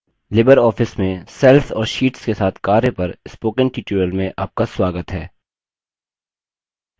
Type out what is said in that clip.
Libre office में cells और sheets के साथ कार्य पर spoken tutorial में आपका स्वागत है